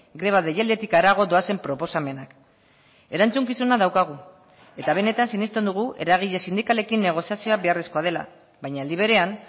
greba deialditik harago doazen proposamenak erantzukizuna daukagu eta benetan sinesten dugu eragile sindikalekin negoziazioa beharrezkoa dela baina aldi berean